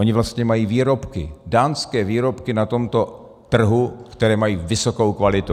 Oni vlastně mají výrobky, dánské výrobky na tomto trhu, které mají vysokou kvalitu.